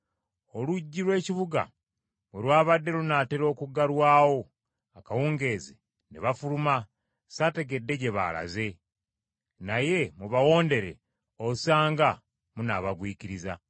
Oluggi lw’ekibuga bwe lwabadde lunaatera okuggalwawo akawungeezi, ne bafuluma, saategedde gye baalaze; naye mubawondere osanga munaabagwikiriza.”